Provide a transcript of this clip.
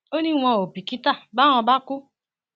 ó ní wọn ò bìkítà báwọn bá kú